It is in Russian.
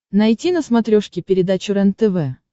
найти на смотрешке передачу рентв